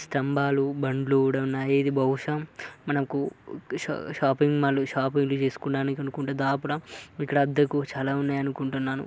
స్థంభాలు బండ్లు కూడా ఉన్నాయి. ఇది బహుశా మనకు షాపింగ్ మాల్ షాపు లు తీసుకోవడానికి అనుకుంటా. దాపుడం ఇక్కడ అద్దెకు చాలా ఉన్నాయనుకుంటున్నాను.